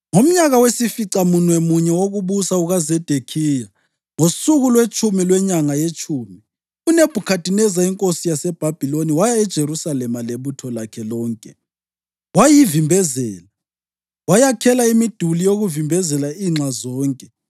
Ngomnyaka wesificamunwemunye wokubusa kukaZedekhiya, ngosuku lwetshumi lwenyanga yetshumi, uNebhukhadineza inkosi yaseBhabhiloni waya eJerusalema lebutho lakhe lonke, wayivimbezela; wayakhela imiduli yokuvimbezela inxa zonke.